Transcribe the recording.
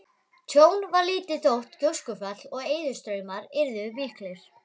Tjón varð lítið þótt gjóskufall og eðjustraumar yrðu miklir.